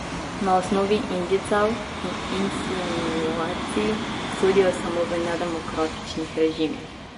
Na osnovi indicev in insinuacij sodijo samo v nedemokratičnih režimih.